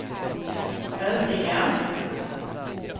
övriga